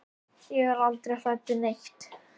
Ég er aldrei hrædd við neitt.